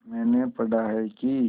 मैंने पढ़ा है कि